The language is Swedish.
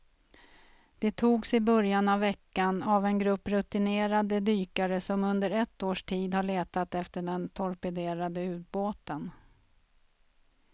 De togs i början av veckan av en grupp rutinerade dykare som under ett års tid har letat efter den torpederade ubåten.